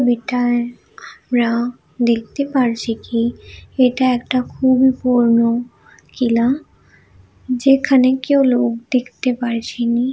আমরা দেখতে পারছি কি এটা একটা খুবই পুরোনো কিলা যেখানে কেউ লোক দেখতে পারছিনি।